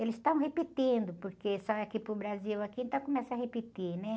Eles estão repetindo, porque aqui para o Brasil, aqui, então começa a repetir, né?